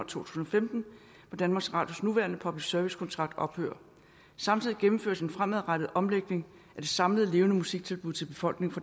tusind og femten hvor danmarks radios nuværende public service kontrakt ophører samtidig gennemføres en fremadrettet omlægning af de samlede levende musik tilbud til befolkningen